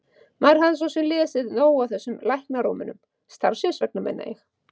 Maður hafði svo sem lesið nóg af öllum þessum læknarómönum, starfsins vegna meina ég.